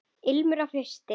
Ilmur af hausti!